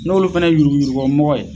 N' olu fɛnɛ ye yurugu yurugubɔmɔgɔ ye